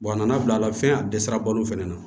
a nana bila la fɛn a dɛsɛra balo fɛnɛ na